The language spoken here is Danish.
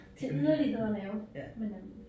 Til yderlighederne jo men øh